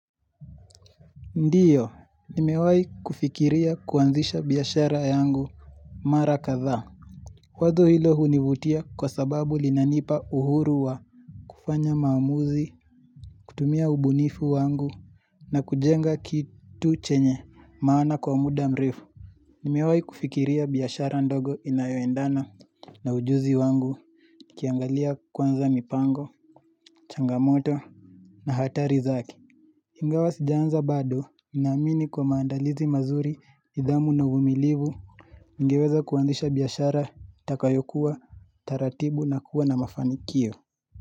Ndiyo, nimewahi kufikiria kuanzisha biashara yangu mara kadhaa. Wazo hilo hunivutia kwa sababu linanipa uhuru wa kufanya maamuzi, kutumia ubunifu wangu na kujenga kitu chenye maana kwa muda mrefu. Nimewahi kufikiria biashara ndogo inayoendana na ujuzi wangu nikiangalia kwanza mipango, changamoto na hatari zake. Ingawa sijaanza bado naamini kwa maandalizi mazuri, nidhamu na uvumilivu, ningeweza kuanzisha biashara, itakayokuwa, taratibu na kuwa na mafanikio.